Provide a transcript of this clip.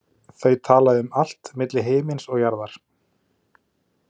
Þau tala um allt milli himins og jarðar.